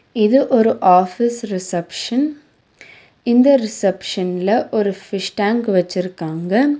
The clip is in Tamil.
இது ஒரு ஆஃபீஸ் ரிசப்ஷன் இந்த ரிசப்ஷன்ல ஒரு ஃபிஷ் டேங்க் வெச்சுருக்காங்க.